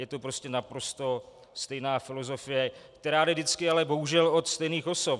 Je to prostě naprosto stejná filozofie, která jde vždycky ale bohužel od stejných osob.